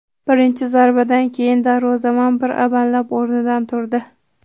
Birinchi zarbadan keyin darvozabon bir amallab o‘rnidan turdi.